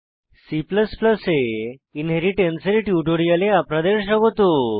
C এ inheritance এর টিউটোরিয়ালে আপনাদের স্বাগত